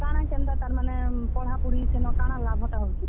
କାଣା କେନ୍ତା ତାର୍ ମାନେ ପଢାପଢି ସେନ କାଣା ଲାଭଟା ହଉଛେ?